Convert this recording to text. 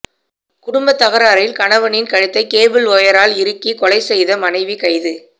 குடும்பத் தகராறில் கணவனின் கழுத்தை கேபிள் வயரால் இறுக்கி கொலை செய்த மனைவி கைது